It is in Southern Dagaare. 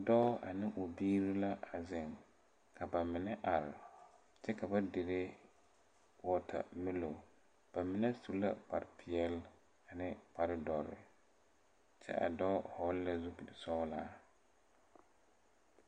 Dɔɔ ane o biire la a zeŋ ka ba mine are kyɛ ka ba dire wɔɔtamɛlon ba mine su la kparepeɛɛli mine kparedɔre kyɛ a dɔɔ vɔgle la zupilsɔglaa.